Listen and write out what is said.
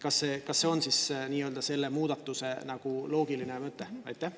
Kas see on selle muudatuse loogiline mõte?